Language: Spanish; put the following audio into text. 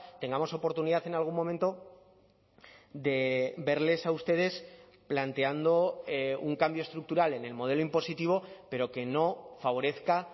tengamos oportunidad en algún momento de verles a ustedes planteando un cambio estructural en el modelo impositivo pero que no favorezca